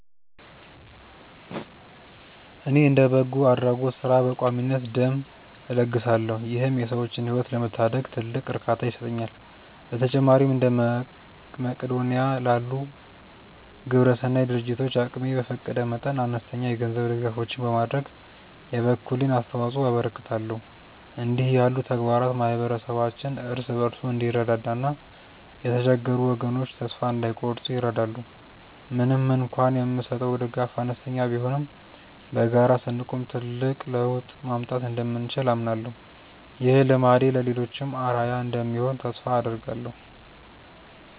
እኔ እንደ በጎ አድራጎት ሥራ በቋሚነት ደም እለግሳለሁ ይህም የሰዎችን ሕይወት ለመታደግ ትልቅ እርካታ ይሰጠኛል። በተጨማሪም እንደ መቅዶንያ ላሉ ግብረሰናይ ድርጅቶች አቅሜ በፈቀደ መጠን አነስተኛ የገንዘብ ድጋፎችን በማድረግ የበኩሌን አስተዋጽኦ አበረክታለሁ። እንዲህ ያሉ ተግባራት ማኅበረሰባችን እርስ በርሱ እንዲረዳዳና የተቸገሩ ወገኖች ተስፋ እንዳይቆርጡ ይረዳሉ። ምንም እንኳን የምሰጠው ድጋፍ አነስተኛ ቢሆንም በጋራ ስንቆም ትልቅ ለውጥ ማምጣት እንደምንችል አምናለሁ። ይህ ልማዴ ለሌሎችም አርአያ እንደሚሆን ተስፋ አደርጋለሁ።